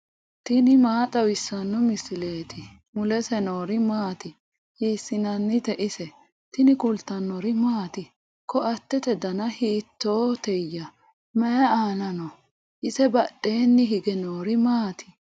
tini maa xawissanno misileeti ? mulese noori maati ? hiissinannite ise ? tini kultannori maati? Koatte danna hiittootteya? Mayi aanna noo? ise badheenni hige noori maatti?